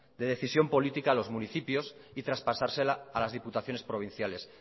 de decisión política a los municipios y traspasársela a las diputaciones provinciales